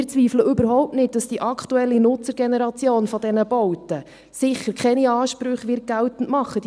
Wir zweifeln überhaupt nicht, dass die aktuelle Nutzergeneration dieser Bauten sicher keine Ansprüche geltend machen wird.